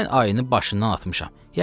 Mən ayını başından atmışam.